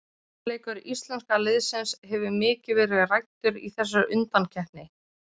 Varnarleikur íslenska liðsins hefur mikið verið ræddur í þessari undankeppni.